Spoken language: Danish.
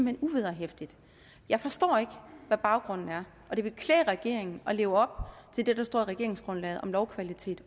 hen uvederhæftigt jeg forstår ikke hvad baggrunden er og det vil klæde regeringen at leve op til det der står i regeringsgrundlaget om lovkvalitet